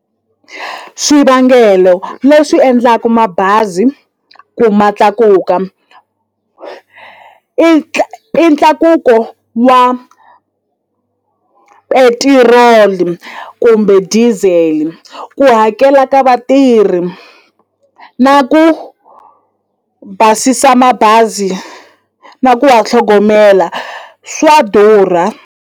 Swivangelo leswi endlaku mabazi ku ma tlakuka i i ntlakuko wa petiroli kumbe diesel ku hakela ka vatirhi na ku basisa mabazi na ku wa tlhogomela swa durha.